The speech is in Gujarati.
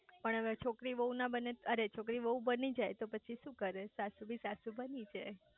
પણ હવે છોકરી વહુ ના બને અરે છોકરી વહુ બની જાય તો પછી શુ કરે સાસુ બી સાસુ બની જાય